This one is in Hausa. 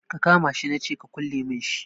Ka kama shi na ce ka kulle min shi